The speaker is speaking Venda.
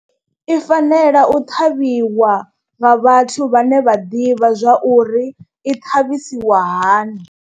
I fanela u ṱhavhiwa nga vhathu vhane vha ḓivha zwa uri i ṱhavhisiwa hani.